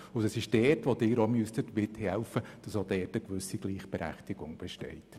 Dort müssten auch Sie mithelfen, damit eine Gleichberechtigung besteht.